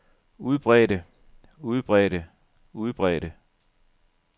udbredte udbredte udbredte